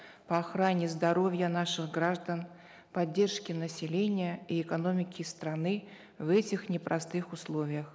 по охране здоровья наших граждан поддержки населения и экономики страны в этих непростых условиях